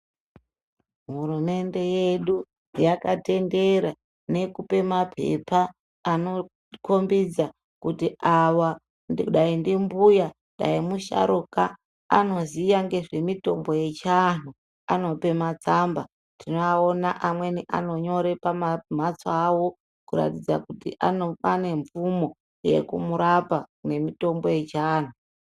Hurumende yedu yakatendera nekupe mapepa anokombidza kuti ava dai ndimbuya, dai musharuka, anoziya ngezvemitombo yechianhu. Anope matsamba, tinoaona amweni anonyore pamamhatso awo kuratidza kuti anemvumo yekumurapa nemitombo yechianhu.